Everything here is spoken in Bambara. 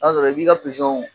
I b'a sɔrɔ i b'i ka